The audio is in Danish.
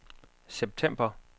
september